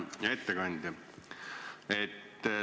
Hea ettekandja!